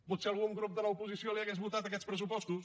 potser algun grup de l’oposició li hauria votat aquests pressupostos